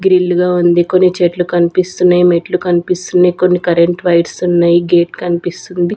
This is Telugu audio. గ్రిల్ గా ఉంది కొన్ని చెట్లు కనిపిస్తున్నాయి మెట్లు కనిపిస్తున్నాయి కొన్ని కరెంట్ వైట్స్ ఉన్నాయి గేట్ కనిపిస్తుంది.